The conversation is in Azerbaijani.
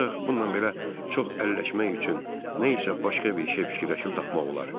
Ancaq bununla belə çox əlləşmək üçün nə isə başqa bir şey fikirləşib tapmaq olar.